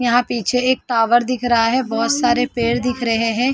यहां पीछे एक टावर दिख रहा है बहुत सारे पेड़ दिख रहे हैं।